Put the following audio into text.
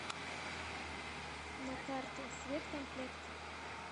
на карте светкомплект